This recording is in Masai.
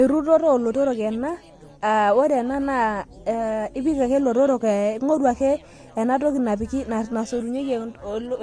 erutoto oolotorok ena, ore ena naa ipik ake lotorok ee ing'oru ake ena toi napiki entoki